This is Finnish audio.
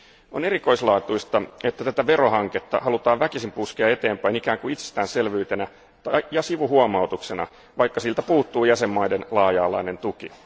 On erikoislaatuista, että tätä verohanketta halutaan väkisin puskea eteenpäin ikään kuin itsestäänselvyytenä ja sivuhuomautuksena, vaikka siltä puuttuu jäsenvaltioiden laaja alainen tuki.